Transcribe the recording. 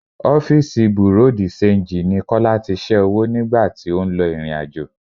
Ọ́fíìsì bùréú di-ṣenji ni Kọ́lá tí ṣẹ́ owó nìgbà tí ó ń lọ ìrìnàjò.